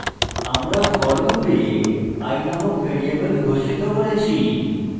আমরা for loop i নামক variable ঘোষিত করেছি